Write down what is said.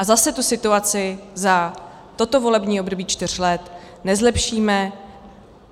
A zase tu situaci za toto volební období čtyř let nezlepšíme.